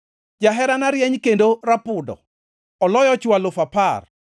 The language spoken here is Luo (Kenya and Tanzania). Jaherana rieny kendo rapudo, oloyo chwo alufu apar.